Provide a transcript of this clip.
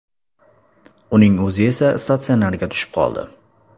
Uning o‘zi esa statsionarga tushib qoldi.